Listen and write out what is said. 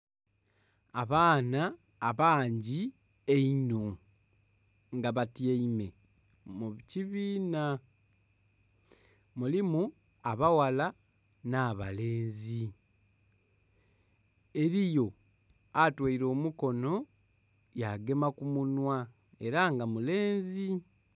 Abaana abangi einno nga batyaime mu kibiina mulimu abaghala nha balenzi, eriyo atoire omukono ya gema ku munhwa era nga mulenzi.